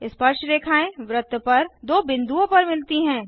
स्पर्शरेखाएँ वृत्त पर दो बिंदुओं पर मिलती हैं